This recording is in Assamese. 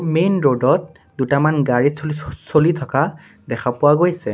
মেইন ৰদত ত দুটামান গাড়ী চ-চ- চলি থকা দেখা পোৱা গৈছে।